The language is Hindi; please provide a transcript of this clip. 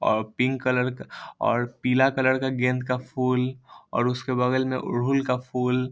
ओर पिंक कलर का ओर पीला कलर का गेंद का फूल और उसके बगल में अड़हुल का फूल |